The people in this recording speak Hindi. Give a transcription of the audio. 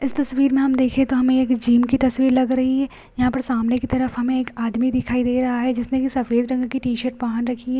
इस तस्वीर में हम देखें तो एक जिम की तस्वीर लग रही है यहाँ पर सामने की तरफ हमें एक आदमी दिखाई दे रहा है जिसने की सफ़ेद रंग की टी-शर्ट पहन रखी है।